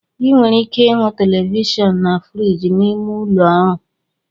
Ị nwere ike ịhụ Televishion na friji n'ime ụlọ ọrụ